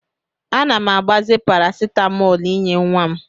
Ana m agbaze parasitamọl inye nwa m.